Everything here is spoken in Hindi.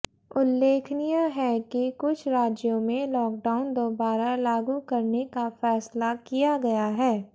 उल्लेखनीय है कि कुछ राज्यों में लॉकडाउन दोबारा लागू करने का फैसला किया गया है